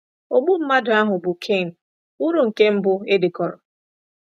Ogbu mmadụ ahụ bụ́ Cain wuru nke mbụ e dekọrọ.